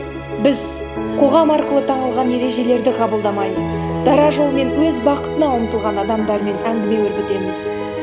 біз қоғам арқылы танылған ережелерді қабылдамай дара жолмен өз бақытына ұмтылған адамдармен әңгіме өрбітеміз